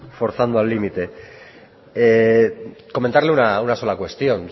forzando al límite comentarle una sola cuestión